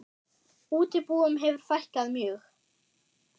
Útibúum hefur fækkað mjög.